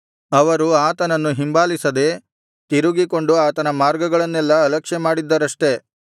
ಅವರು ಆತನನ್ನು ಹಿಂಬಾಲಿಸದೆ ತಿರುಗಿಕೊಂಡು ಆತನ ಮಾರ್ಗಗಳನ್ನೆಲ್ಲಾ ಅಲಕ್ಷ್ಯಮಾಡಿದ್ದರಷ್ಟೆ